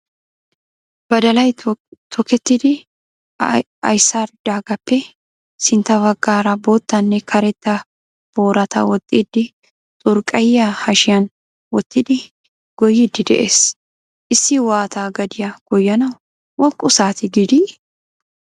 Badalay tokettidi aysaaridaagaappe sintta baggaara boottanne karetta boorata waaxidi xurqqayiya hashiyan wottidi goyyiiddi de'ees. Issi waatta gadiya goyyanawu woqqu saatee gidii?